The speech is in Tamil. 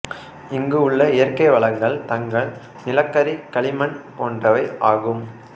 இங்கு உள்ள இயற்கை வளங்கள் தங்கம் நிலக்கரி களிமண் போன்றவை ஆகும்